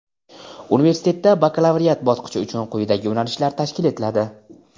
universitetda bakalavriat bosqichi uchun quyidagi yo‘nalishlar tashkil etiladi:.